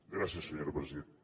gràcies senyora presidenta